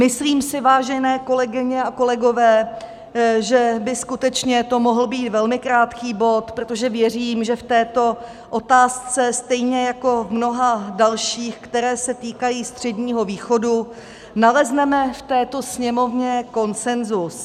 Myslím si, vážené kolegyně a kolegové, že by skutečně to mohl být velmi krátký bod, protože věřím, že v této otázce stejně jako v mnoha dalších, které se týkají Středního východu, nalezneme v této Sněmovně konsenzus.